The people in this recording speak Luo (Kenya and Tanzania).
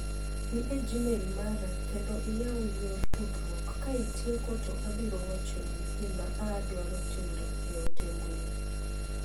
Dhi e gmail mara klendo iyaw yor tudruok ka itieko to abiro wachoni gima aadwaro tindo e ote mbui.